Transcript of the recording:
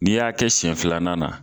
N'i y'a kɛ sɛn filanan na